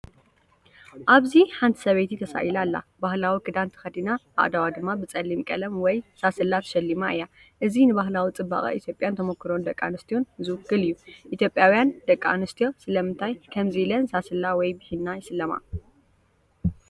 ኣብዚ ሓንቲ ሰበይቲ ተሳኢላ ኣላ። ባህላዊ ክዳን ተኸዲና ኣእዳዋ ድማ ብጸሊም ቀለም ወይም ሳስላ ተሸሊማ እያ። እዚ ንባህላዊ ጽባቐ ኢትዮጵያን ተመኩሮ ደቂ ኣንስትዮን ዝውክል እዩ። ኢትዮጵያውያን ደቂ ኣንስትዮ ስለምንታይ ከምዚ ኢለን ሳስላ ወይ ብሂና ይስለማ?